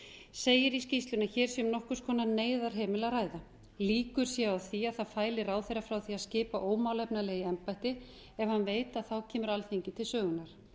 segir í skýrslunni að hér sé um nokkurs konar neyðarhemil að ræða líkur séu á því að það fæli ráðherra frá því að skipa ómálefnalega í embætti ef hann veit að þá kemur alþingi til sögunnar